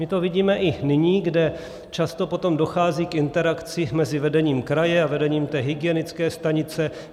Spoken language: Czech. My to vidíme i nyní, kdy často potom dochází k interakci mezi vedením kraje a vedením té hygienické stanice.